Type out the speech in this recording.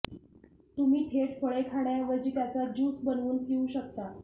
तुम्ही थेट फळे खाण्याऐवजी त्याचा ज्यूस बनवून पिऊ शकता